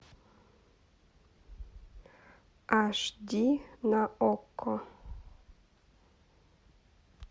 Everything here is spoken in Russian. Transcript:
аш ди на окко